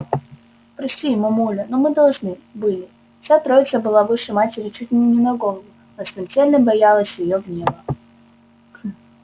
прости мамуля но мы должны были вся троица была выше матери чуть не на голову но смертельно боялась её гнева